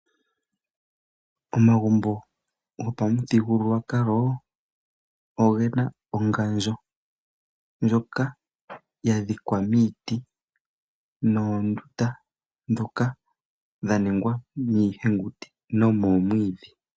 Omagumbo gopamuthigululwakalo ogena ongandjo ndjoka yadhikwa miiti noondunda ndhoka dhaningwa miihenguti nomomwiidhi.